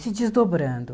Se desdobrando.